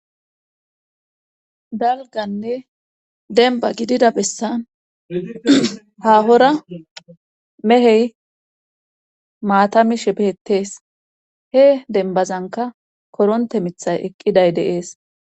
Dalganne denba gidida bessan hahora mehey maatami shepettees he denbazanka koronte mithay eqqiday deees